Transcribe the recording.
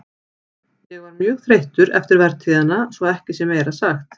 Ég var mjög þreyttur eftir vertíðina svo að ekki sé meira sagt.